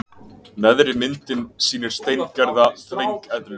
Neðri myndin sýnir steingerða þvengeðlu.